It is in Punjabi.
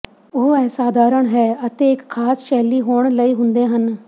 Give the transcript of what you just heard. ਉਹ ਅਸਾਧਾਰਨ ਹੈ ਅਤੇ ਇੱਕ ਖਾਸ ਸ਼ੈਲੀ ਹੋਣ ਲਈ ਹੁੰਦੇ ਹਨ